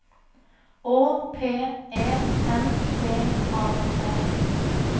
Å P E N B A R